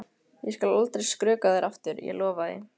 Ég skal aldrei skrökva að þér aftur, ég lofa því.